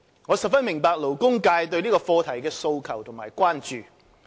我十分明白勞工界對這個課題的訴求及關注。